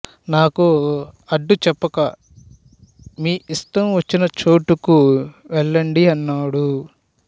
నాకు అడ్డు చెప్పక మీ ఇష్టం వచ్చిన చోటుకు వెళ్ళండి అన్నాడు